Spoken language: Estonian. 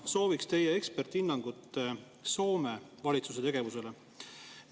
Ma sooviksin teie eksperthinnangut Soome valitsuse tegevusele.